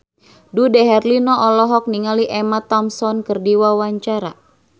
Dude Herlino olohok ningali Emma Thompson keur diwawancara